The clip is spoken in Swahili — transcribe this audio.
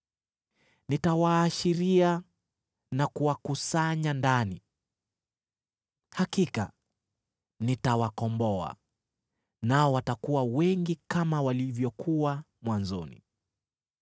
Nitawaashiria na kuwakusanya ndani. Hakika nitawakomboa, nao watakuwa wengi kama walivyokuwa mwanzoni.